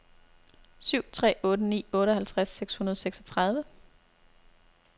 syv tre otte ni otteoghalvtreds seks hundrede og seksogtredive